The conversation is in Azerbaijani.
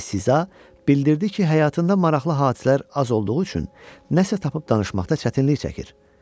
Əli Siza bildirdi ki, həyatında maraqlı hadisələr az olduğu üçün nəsə tapıb danışmaqda çətinlik çəkir.